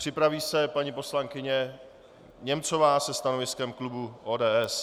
Připraví se paní poslankyně Němcová se stanoviskem klubu ODS.